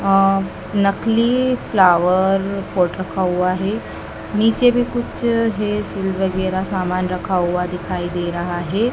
नकली flower pot रखा हुआ है नीचे भी कुछ है सील वगैराह समान रखा हुआ दिखाई दे है।